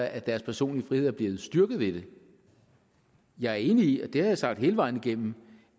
at deres personlige frihed er blevet styrket ved det jeg er enig i og det har jeg sagt hele vejen igennem